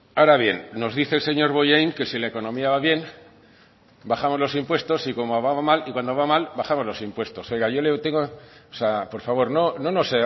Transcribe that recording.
ahora bien nos dice el señor bollain que si la economía va bien bajamos los impuestos y cuando va mal bajamos los impuestos oiga yo le tengo o sea por favor no nos